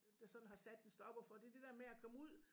Der sådan har sat en stopper for det det der med at komme ud